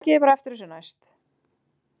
Takið þið bara eftir þessu næst!